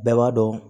Bɛɛ b'a dɔn